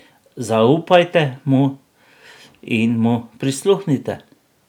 Zaupajte mu in mu prisluhnite.